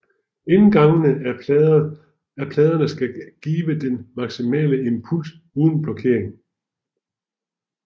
Indgangene af pladerne skal give den maksimale impuls uden blokering